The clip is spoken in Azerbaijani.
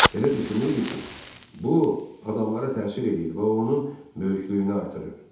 Belə düşünürdü ki, bu adamlara təsir eləyir və o onun böyüklüyünü artırır.